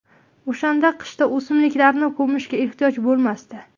O‘shanda qishda o‘simliklarni ko‘mishga ehtiyoj bo‘lmasdi”.